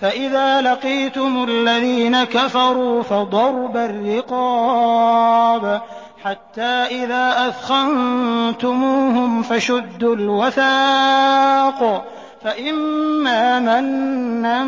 فَإِذَا لَقِيتُمُ الَّذِينَ كَفَرُوا فَضَرْبَ الرِّقَابِ حَتَّىٰ إِذَا أَثْخَنتُمُوهُمْ فَشُدُّوا الْوَثَاقَ فَإِمَّا مَنًّا